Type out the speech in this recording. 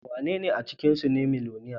Wanene a cikinsu ne miloniya?